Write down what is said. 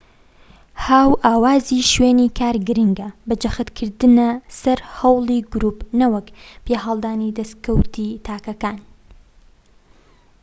هاوئاوازی شوێنی کار گرنگە بە جەختکردنە سەر هەوڵی گروپ نەوەک پیاهەڵدانی دەسکەوتی تاکەکان